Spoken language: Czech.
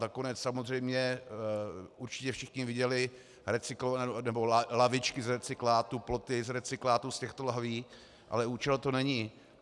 Nakonec samozřejmě určitě všichni viděli lavičky z recyklátu, ploty z recyklátu z těchto lahví, ale účel to není.